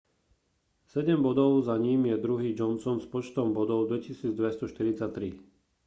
sedem bodov za ním je druhý johnson s počtom bodov 2 243